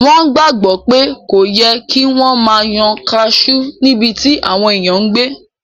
Wọ́n gbàgbọ́ pé kò yẹ kí wọ́n máa yan kaasú níbití àwọn èèyàn n gbé